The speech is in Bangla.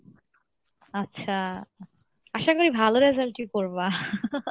আচ্ছা আশা করি ভালো result ই করবা,